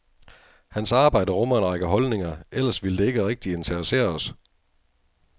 Hans arbejde rummer en række holdninger, ellers ville det ikke rigtig interessere os.